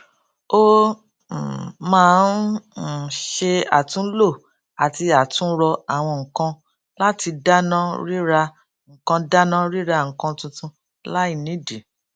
ó um máa ń um ṣe àtúnlò àti àtúnrọ àwọn nǹkan láti dáná ríra nǹkan dáná ríra nǹkan tuntun láì nídìí